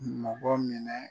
Mɔkɔ minɛ